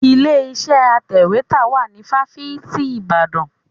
Ilé iṣẹ́ atẹ̀wétà wà ní fáfitì Ìbàdàn.